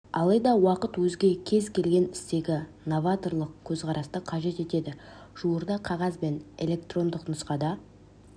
алайда уақыт өзге кез келген істегі новаторлық көзқарасты қажет етеді жуырда қағаз және электрондық нұсқада